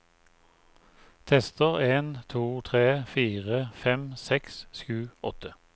Tester en to tre fire fem seks sju åtte